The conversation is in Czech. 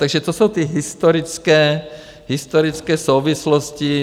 Takže to jsou ty historické souvislosti.